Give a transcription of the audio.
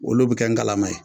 Olu bi kɛ ngalama ye.